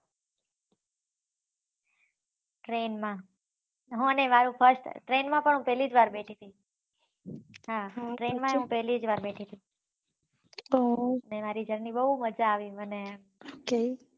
train માં હું અને મારું first train માં પણ હુ પેહલી જ વાર બેઠી હતી હા train માં ભી પેહલી વાર બેઠી થી એ મારી જરની બહુ મજા આવી મને